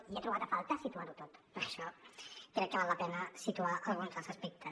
i he trobat a faltar situar ho tot per això crec que val la pena situar alguns dels aspectes